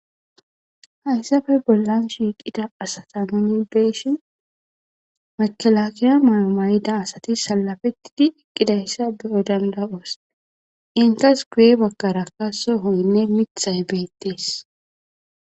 Haysafe bollan shiqida asata nun be'ashen mekelakeya mayo Mayida asati salafetidi eqidaysa be'o dand'aoso indes guye bagara mithay betese